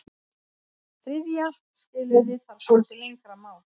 Þriðja skilyrðið þarf svolítið lengra mál.